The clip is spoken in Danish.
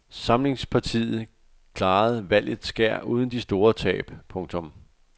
Samlingspartiet klarede valgets skær uden de store tab. punktum